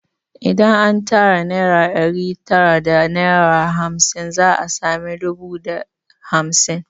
Idan an tara naira ɗari tara da naira hamsin za a sami dubu da hamsin